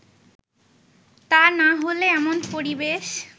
তা না হলে এমন পরিবেশ